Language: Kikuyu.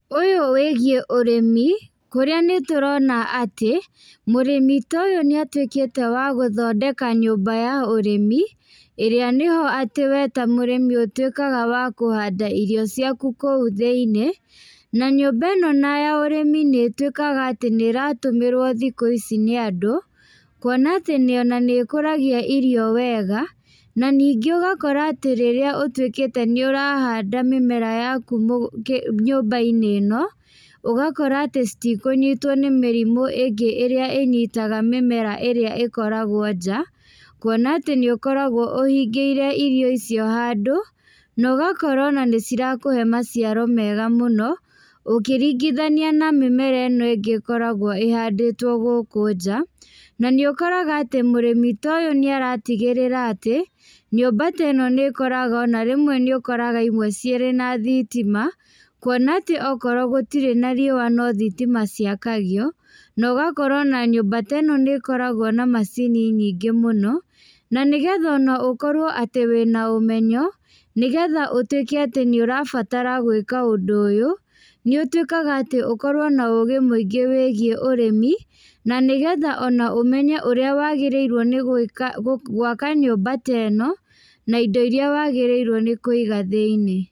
Ũyũ wĩgiĩ ũrĩmi, kũrĩa nĩ tũrona atĩ, mũrĩmi toyũ nĩ atũĩkĩte wa gũthondeka nyũmba ya ũrĩmi, ĩrĩa nĩho atĩ we ta mũrĩmi ũtuĩkaga wa kũhanda irio ciaku kũu thĩiniĩ, na nyũmba ĩno na ya ũrĩmi nĩ ĩtuĩkaga atĩ nĩratũmĩrwo thikũ ici nĩ andũ, kuona atĩ nĩ ona nĩ ĩkũragia irio wega, na ningĩ ũgakora atĩ rĩrĩa ũtuĩkĩte nĩ ũrahanda mĩmera yaku mũ kĩ nyũmba-inĩ ĩno, ũgakora atĩ citikũnyitwo nĩ mĩrimũ ĩngĩ ĩrĩa ĩnyitaga mĩmera ĩrĩa ĩkoragwo nja, kuona atĩ nĩ ũkoragwo ũhingĩire iro icio handũ, nogakorwo ona nĩ cirakũhe maciaro mega mũno, ũkĩringithania na mĩmera ĩno ĩngĩ ĩkoragwo ĩhandĩtwo gũkũ nja, na nĩ ũkoraga atĩ mũrĩmi toyũ nĩaratigĩrĩra atĩ, nyũmba teno nĩ ĩkoraga ona rĩmwe nĩ ũkoraga imwe cirĩ na thitima, kuona atĩ okorwo gũtirĩ na riũa no thitima ciakagio, na ũgakora ona nyũmba te no nĩ ĩkoragwo na macini nyingĩ mũno, na nĩgetha ona ũkorwo atĩ wina ũmenyo, nĩgetha ũtuĩke atĩ nĩ ũrabatara gwĩka ũndũ ũyũ, nĩ ũtuĩkaga atĩ ũkorwo na ũgĩ mũingĩ wĩgiĩ ũrĩmi, na nĩgetha ona ũmenye ũrĩa wagĩrĩirwo nĩ gũĩka, gwaka nyũmba teno, na indo iria wagĩrĩrwo nĩ kũiga thĩiniĩ.